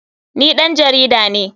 Ni ɗan jarida ne.